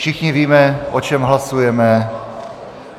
Všichni víme, o čem hlasujeme.